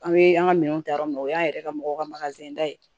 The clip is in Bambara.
An bɛ an ka minɛn ta yɔrɔ min o y'an yɛrɛ ka mɔgɔw ka da ye